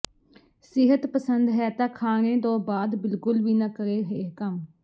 ਸਿਹਤ ਪਸੰਦ ਹੈ ਤਾਂ ਖਾਣੇ ਤੋਂ ਬਾਅਦ ਬਿਲਕੁਲ ਵੀ ਨਾ ਕਰੇ ਇਹ ਕੰਮ